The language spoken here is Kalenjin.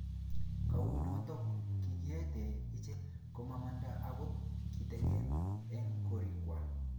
kou noto, kikiete icheke komamanda akot kitegen eng' korikwak